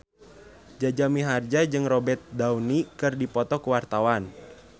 Jaja Mihardja jeung Robert Downey keur dipoto ku wartawan